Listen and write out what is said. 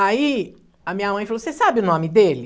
Aí a minha mãe falou, você sabe o nome dele?